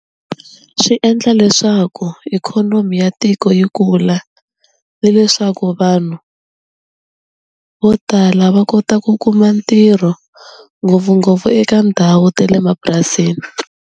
Swi endla leswaku ikhonomi ya tiko yi kula ni leswaku vanhu vo tala va kota ku kuma ntirho ngopfungopfu eka ndhawu ta le mapurasini.